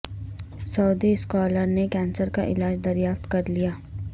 سعودی scholar نے cancer کا علاج دریافت کر لیا